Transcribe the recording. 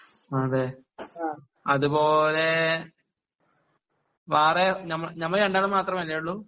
അതേ അത് പോലെ ഫാറെ നമ്മള് രണ്ടാളും മാത്രമല്ലേ ഉള്ളു